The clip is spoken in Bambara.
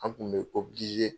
An tun bɛ o